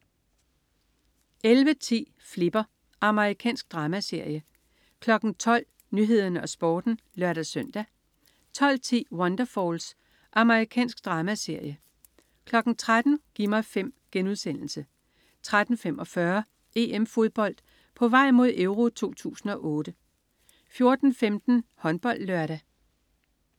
11.10 Flipper. Amerikansk dramaserie 12.00 Nyhederne og Sporten (lør-søn) 12.10 Wonderfalls. Amerikansk dramaserie 13.00 Gi' mig 5* 13.45 EM Fodbold: På vej mod EURO 2008 14.15 HåndboldLørdag